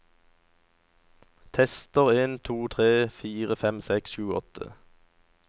Tester en to tre fire fem seks sju åtte